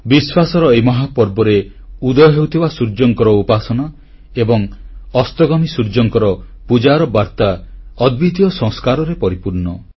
ବିଶ୍ୱାସର ଏହି ମହାପର୍ବରେ ଉଦୟ ହେଉଥିବା ସୂର୍ଯ୍ୟଙ୍କ ଉପାସନା ଏବଂ ଅସ୍ତଗାମୀ ସୂର୍ଯ୍ୟଙ୍କର ପୂଜାର ବାର୍ତ୍ତା ଅଦ୍ୱିତୀୟ ସଂସ୍କାରରେ ପରିପୂର୍ଣ୍ଣ